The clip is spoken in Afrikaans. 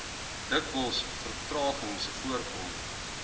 dikwels vertragings voorkom